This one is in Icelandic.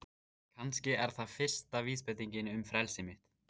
Kannski er það fyrsta vísbendingin um frelsi mitt.